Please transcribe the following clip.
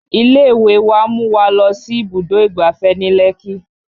Ilé ìwé wa mú wa lọ sí ibùdó ìgbáfẹ́ ní Lekki